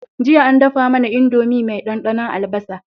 Jiya an dafa mAna indomie me dan dannon albasa